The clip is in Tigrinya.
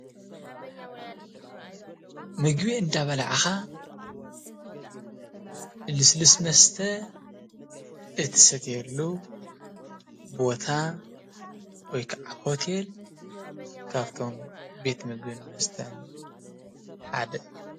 ምግቢ እንዳበላዕካ ልሰሉስ መስተ እትሰትየሉ ቦታ ወይ ካዓ ሆቴል ካብፍቶ ቤት ምግብን መስተን ሓደ እዩ፡፡